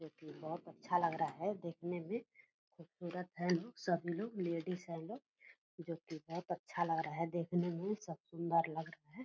जो कि बहुत अच्छा लग रहा है देखने में खुबसूरत है लोग सभी लोग लेडीज है लोग जो की बहुत अच्छा लग रहा है देखने में सब सुंदर लग रहा है।